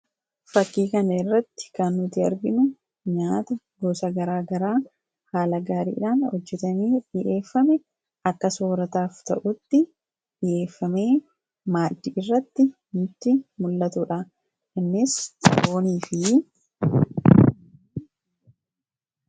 Fakkii kanarratti kan nuti arginu nyaata gosa garaagaraa haala gaariidhaan hojjatamee mi'eeffame akka soorataaf ta'utti mi'eeffamee maaddiirratti dhiyaate kan nutti mul'atudha.